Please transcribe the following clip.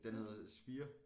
Den hedder sphere